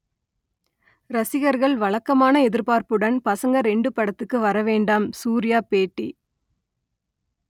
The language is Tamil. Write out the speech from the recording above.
ரசிகர்கள் வழக்கமான எதிர்பார்ப்புடன் பசங்க இரண்டு படத்துக்கு வர வேண்டாம் சூர்யா பேட்டி